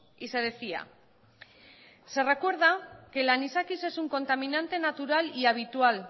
y se decía se recuerda que el anisakis es un contaminante natural y habitual